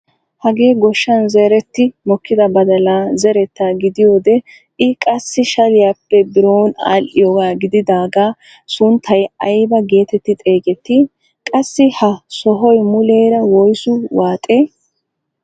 Hagee goshshan zeretti mokkida badalaa zerettaa gidiyoode i qassi shaliyaappe biron adhiyaagaa gididagaa sunttay aybaa getetti xeegettii? qassi ha sohoy muleera woysu waaxee?